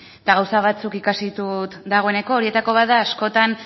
eta gauza batzuk ikasi ditut dagoeneko horietako bat da askotan